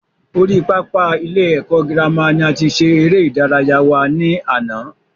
Orí pápá ilé ẹ̀kọ́ girama ni a ti ṣe eré ìdárayá wa ní àná